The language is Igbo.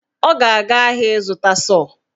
Ọ ga-aga ahịa ịzụta sọọ